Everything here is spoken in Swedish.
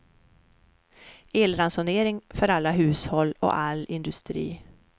Elransonering för alla hushåll och all industri.